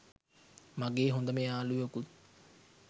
මගේ හොඳම යාළුවෙකුත්